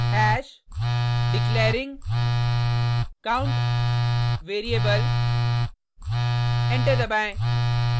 hash declaring count variable enter दबाएँ